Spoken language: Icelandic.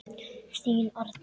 Þín Arney.